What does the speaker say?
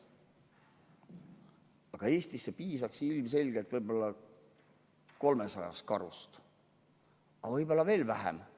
Aga Eestis piisaks ilmselgelt umbes 300 karust, võib-olla veel vähemast.